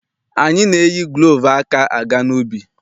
Anyị na-eyi gulovu aka aga n'ubi.